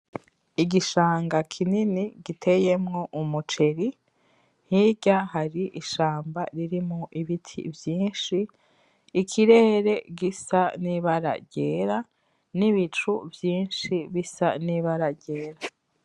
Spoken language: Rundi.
Igishanga kinini giteyemwo umuceri hirya hari ishamba ririmwo ibiti vyishi, ikirere gisa n’ibara ryera, n’ibicu vyishi bisa n’ibara ryera.